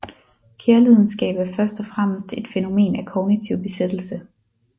Kærlidenskab er først og fremmest et fænomen af kognitiv besættelse